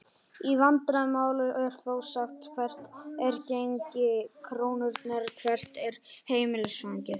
Í vandaðra máli er þó sagt hvert er gengi krónunnar?, hvert er heimilisfangið?